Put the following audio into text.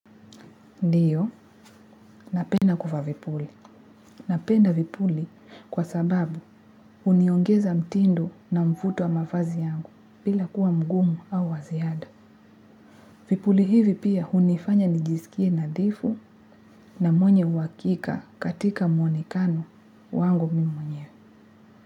Ndio napenda kuvaa vipuli napenda vipuli kwa sababu huniongeza mtindo na mvuto wa mavazi yangu bila kuwa mgumu au wa ziada. Vipuli hivi pia hunifanya nijisikie nadhifu na mwenye uhakika katika mwonekano wangu mwenyewe.